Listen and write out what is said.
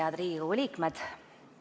Head Riigikogu liikmed!